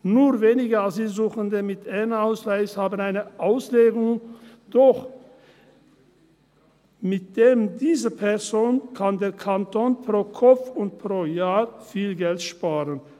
Nur wenige Asylsuchende mit N-Ausweis haben eine Anstellung, doch mit jeder dieser Personen kann der Kanton pro Kopf und pro Jahr viel Geld sparen.